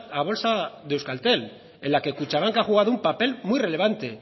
a bolsa de euskaltel en la que kutxabank ha jugado un papel muy relevante